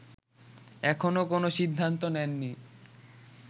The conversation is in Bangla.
এখনও কোন সিদ্ধান্ত নেননি